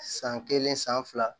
San kelen san fila